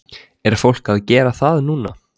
Er fólk að gera það núna?